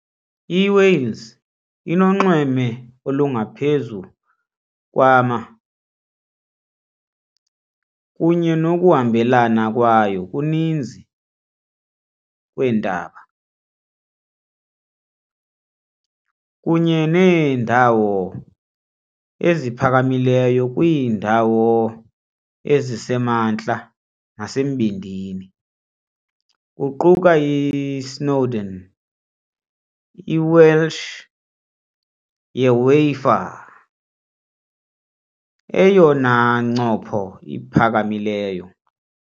IWales inonxweme olungaphezu kwama kunye nokuhambelana kwayo kuninzi kweentaba, kunye neendawo eziphakamileyo kwiindawo ezisemantla nasembindini, kuquka i-Snowdon, i-Welsh "Yr Wyddfa" , eyona ncopho iphakamileyo.